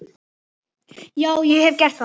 Já, ég hef gert það.